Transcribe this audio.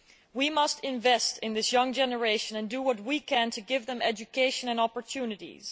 We must invest in this young generation and do what we can to give them education and opportunities.